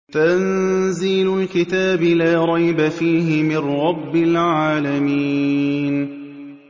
تَنزِيلُ الْكِتَابِ لَا رَيْبَ فِيهِ مِن رَّبِّ الْعَالَمِينَ